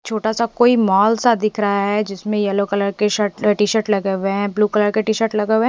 छोटा सा कोई मॉल सा दिख रहा है जिसमे येलो कलर के शर्ट टी शर्ट लगे गुए है।